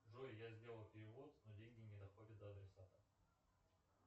джой я сделал перевод но деньги не доходят до адресата